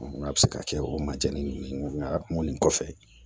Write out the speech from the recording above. N k'a bɛ se ka kɛ o majɛnnin kɔfɛ